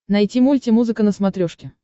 найти мульти музыка на смотрешке